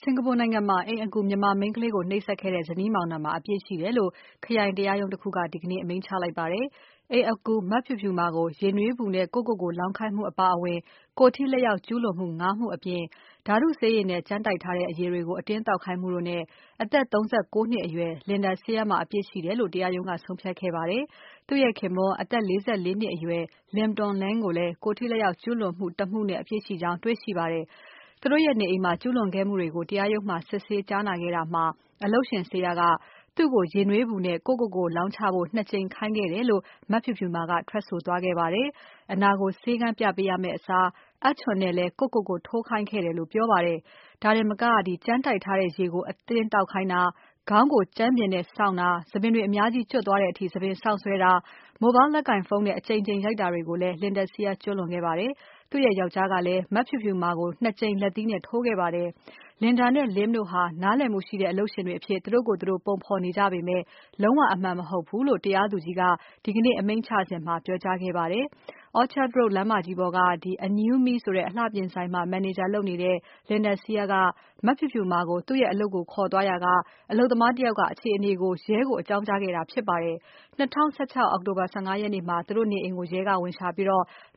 စင်္ကာပူနိုင်ငံမှာ အိမ်အကူ မြန်မာမိန်းကလေးကို နှိပ်စက်တဲ့ဇနီးမောင်နှံမှာ အပြစ်ရှိတယ်လို့ ခရိုင်တရားရုံး တခုက ဒီကနေ့ အမိန့်ချလိုက်ပါတယ်။ အိမ်အကူ မဖြူဖြူမာကို ရေနွေးပူနဲ့ ကိုယ့်ကိုကိုယ် လောင်းခိုင်းမှုအပါအဝင် ကိုယ်ထိလက်ရောက်ကျူးလွန်မှု ၅ မှု အပြင် ဓါတုဆေးရည်နဲ့ ကြမ်းတိုက်ထားတဲ့အရည်တွေကို အတင်းသောက်ခိုင်းမှုတို့နဲ့ အသက် ၃၉ နှစ်အရွယ် Linda Seah မှာအပြစ်ရှိတယ်လို့ တရားရုံးက ဆုံးဖြတ်ခဲ့ပါတယ်။ သူ့ရဲ့ခင်ပွန်း အသက် ၄၄ နှစ်အရွယ် Lim Toon Leng ကိုလည်း ကိုယ်ထိလက်ရောက်ကျူးလွန်မှု ၁ မှုနဲ့ အပြစ်ရှိကြောင်း တွေ့ရှိပါတယ်။ သူတို့ရဲ့နေအိမ်မှာ ကျူးလွန်ခဲ့မှုတွေကို တရားရုံးမှာ စစ်ဆေးကြားနာခဲ့တာမှာ အလုပ်ရှင် Seah က သူ့ကို ရေနွေးပူနဲ့ ကိုယ့်ကိုကိုယ်လောင်းချဖို့ ၂ ကြိမ်ခိုင်းခဲ့တယ်လို့ မဖြူဖြူမာက ထွက်ဆိုသွားပါတယ်။ အနာကို ဆေးခန်းပြပေးရမယ့်အစား အပ်ချွန်နဲ့လည်း ကိုယ့်ကိုကိုယ် ထိုးခိုင်းခဲ့တယ်လို့ ပြောပါတယ်။ ဒါတင်မက ကြမ်းတိုက်ထားတဲ့ရေကို အတင်းသောက်ခိုင်းတာ၊ ခေါင်းကိုကြမ်းပြင်နဲ့ဆောင့်တာ၊ ဆံပင်တွေ အများကြီး ကျွတ်သွားတဲ့အထိ ဆံပင်ဆောင့်ဆွဲတာ၊ Mobile လက်ကိုင်ဖုန်းနဲ့ အကြိမ်ကြိမ် ရိုက်တာတွေကိုလည်း Linda Seah က ကျူးလွန်ခဲ့ပါတယ်။ သူ့ရဲ့ယောင်္ကျားကလည်း မဖြူဖြူမာကို ၂ ကြိမ် လက်သီးနဲ့ ထိုးခဲ့ပါတယ်။ Linda နဲ့ Lim တို့ဟာ နားလည်မှုရှိတဲ့ အလုပ်ရှင်တွေအဖြစ် သူတို့ကိုယ်သူတို့ ပုံဖော်နေကြပေမယ့် လုံးဝအမှန်မဟုတ်ဘူးလို့ တရားသူကြီးက ဒီကနေ့ အမိန့်ချစဉ်မှာ ပြောကြားခဲ့ပါတယ်။ Orchard Road လမ်းမကြီးပေါ်က Anew Me Beauty Aesthetic အလှပြင် ဆိုင်မှာ မန်နေဂျာလုပ်တဲ့ Linda Seah က မဖြူဖြူမာကို သူ့အလုပ်ကိုခေါ်သွားရာက အလုပ်သမား တယောက် က အခြေအနေကို ရဲကိုအကြောင်းကြားခဲ့တာ ဖြစ်ပါတယ်။ ၂၀၁၆ အောက်တိုဘာ ၁၅ ရက်နေ့မှာ သူတို့နေအိမ်ကိုရဲကဝင်ရှာပြီး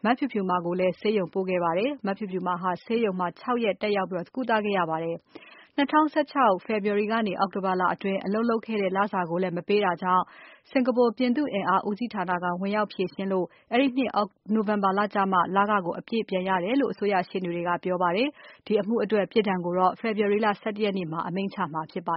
မဖြူဖြူမာကိုလည်း Khoo Teck Puat ဆေးရုံပို့ခဲ့ပါတယ်။ မဖြူဖြူမာဟာ ဆေးရုံမှာ ၆ ရက် တက်ရောက် ကုသခဲ့ ရပါတယ်။ ၂၀၁၆ ခုနှစ် ဖေဖော်ဝါရီကနေ အောက်တိုဘာလအတွင်း အလုပ်လုပ်ခဲ့တဲ့လစာကိုလည်း မပေးတာကြောင့် စင်္ကာပူ ပြည်သူ့အင်အား ဦးစီး ဌာနက ဝင်ရောက်ဖြေရှင်းလို့ အဲဒီနှစ် နိုဝင်ဘာလကျမှ လခကို အပြည့်ပြန်ရ တယ်လို့ အစိုးရရှေ့နေတွေက ပြောပါတယ်။ ဒီအမှုအတွက် ပြစ်ဒဏ်ကိုတော့ February လ ၁၁ ရက်နေ့မှာ အမိန့်ချမှာဖြစ်ပါ